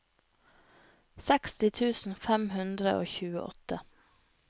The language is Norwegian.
seksti tusen fem hundre og tjueåtte